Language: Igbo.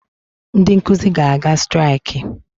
Ndị nkụzi ga-aga striakị